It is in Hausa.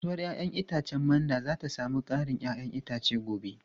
Kasuwar 'ya'yan itacen Mando za ta sami karin 'ya'yan itace gobe.